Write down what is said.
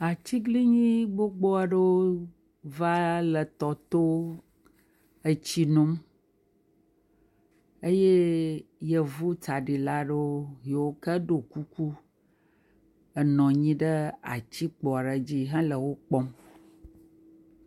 Atiglinyi gbogbo aɖewo va le tɔ to, etsi nom eye yevu tsaɖila aɖewo yike ɖɔ kuku nɔ anyi ɖe atikpo aɖe dzi hele wo kpɔm.